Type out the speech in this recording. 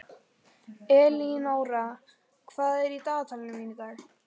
Elínóra, hvað er í dagatalinu mínu í dag?